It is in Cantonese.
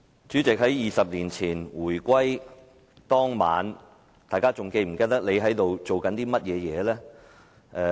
主席 ，20 年前回歸當晚，大家是否記得當時在做甚麼？